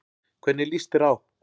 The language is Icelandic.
Hvernig líst þér á?